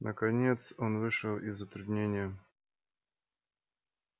наконец он вышел из затруднения